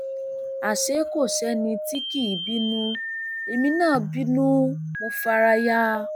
àṣé kò sẹni tí kì í bínú èmi náà bínú mọ fara ya